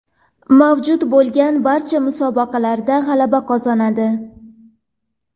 Mavjud bo‘lgan barcha musobaqalarda g‘alaba qozonadi.